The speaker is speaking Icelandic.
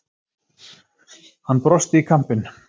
Hann brosti í kampinn.